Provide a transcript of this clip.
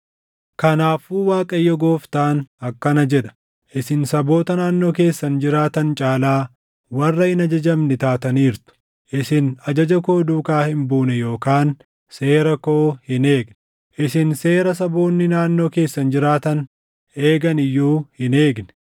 “Kanaafuu Waaqayyo Gooftaan akkana jedha: Isin saboota naannoo keessan jiraatan caalaa warra hin ajajamne taataniirtu; isin ajaja koo duukaa hin buune yookaan seera koo hin eegne. Isin seera saboonni naannoo keessan jiraatan eegani iyyuu hin eegne.